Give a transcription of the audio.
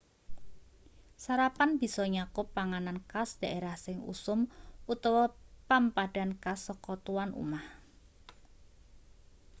sarapan bisa nyakup panganan khas dhaerah sing usum utawa pampadan khas saka tuwan umah